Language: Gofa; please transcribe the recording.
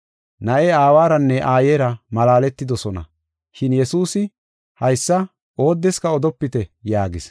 Na7ee aawaranne aayera malaaletidosona. Shin Yesuusi haysa, “Oodeska odopite” yaagis.